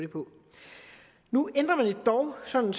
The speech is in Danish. nu ændrer man det dog sådan